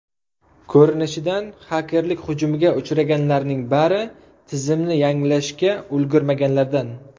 Ko‘rinishidan, xakerlik hujumiga uchraganlarning bari tizimni yangilashga ulgurmaganlardan.